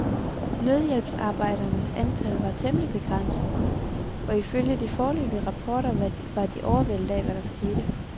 Nødhjælpsarbejdernes antal var temmelig begrænset, og ifølge de foreløbige rapporter var de overvældet af, hvad der skete.